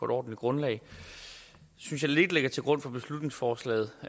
grundlag synes jeg ligger lidt til grund for beslutningsforslaget